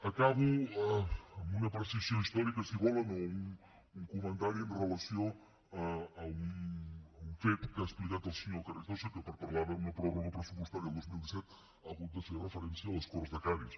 acabo amb una precisió històrica si volen o un comentari amb relació a un fet que ha explicat el senyor carrizosa que per parlar d’una pròrroga pressupostària el dos mil disset ha hagut de fer referència a les corts de cadis